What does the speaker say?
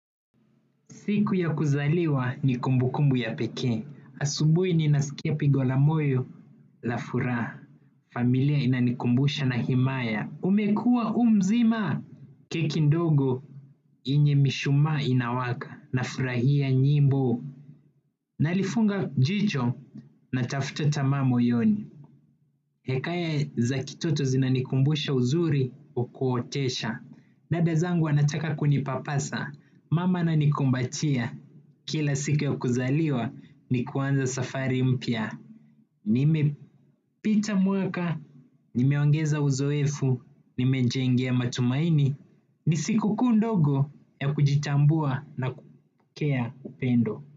Siku ya kuzaliwa ni kumbu kumbu ya pekee. Asubuhi ninasikia pigo la moyo la furaha. Familia inanikumbusha na himaya. Umekua umzima. Keki ndogo yenye mishumaa inawaka. Nafurahia nyimbo. Nalifunga jicho na tafuta tamaa moyoni. Hekaya za kitoto zinanikumbusha uzuri uwa kuotesha. Dada zangu wanataka kunipapasa. Mama ananikumbatia. Kila siku ya kuzaliwa ni kuanza safari mpya. Nimepita mwaka, nimeongeza uzoefu, nimejengea matumaini. Ni sikukuu ndogo ya kujitambua na kupokea upendo.